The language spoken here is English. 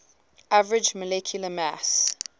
average molecular mass